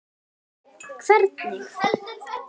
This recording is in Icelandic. Karen: Hvernig?